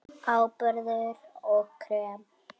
Áburður og krem